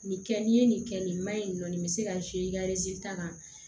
Nin kɛ n'i ye nin kɛ nin maɲi nin bɛ se ka i ka ta kan